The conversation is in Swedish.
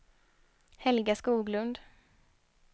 Helga Skoglund